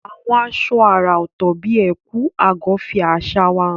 Àwọn aṣọ àrà ọ̀tọ̀ bíi ẹ̀kú/agọ́ fi àṣà wa hàn.